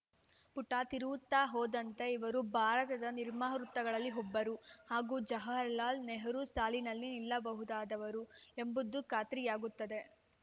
ಪುಟ ತಿರುವುತ್ತಾ ಹೋದಂತೆ ಇವರು ಭಾರತದ ನಿರ್ಮಾತೃಗಳಲ್ಲಿ ಒಬ್ಬರು ಹಾಗೂ ಜವಾಹರಲಾಲ್‌ ನೆಹರು ಸಾಲಿನಲ್ಲಿ ನಿಲ್ಲಬಹುದಾದವರು ಎಂಬುದು ಖಾತ್ರಿಯಾಗುತ್ತದೆ